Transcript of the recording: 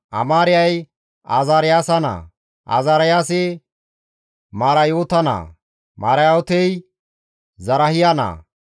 Amaariyay Azaariyaasa naa, Azaariyaasi Marayoota naa, Marayootey Zarahiya naa,